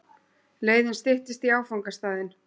Leiðin styttist í áfangastaðinn.